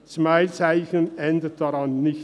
Ein Smiley-Zeichen ändert daran nichts.